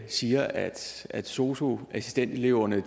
siger at at sosu assistenteleverne